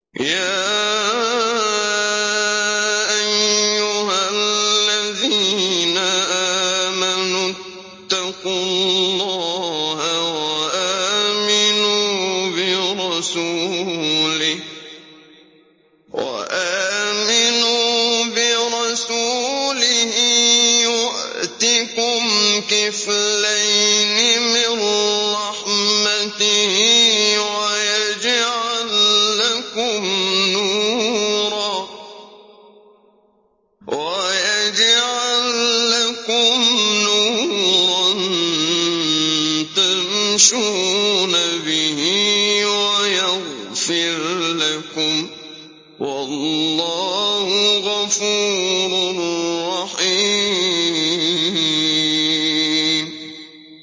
يَا أَيُّهَا الَّذِينَ آمَنُوا اتَّقُوا اللَّهَ وَآمِنُوا بِرَسُولِهِ يُؤْتِكُمْ كِفْلَيْنِ مِن رَّحْمَتِهِ وَيَجْعَل لَّكُمْ نُورًا تَمْشُونَ بِهِ وَيَغْفِرْ لَكُمْ ۚ وَاللَّهُ غَفُورٌ رَّحِيمٌ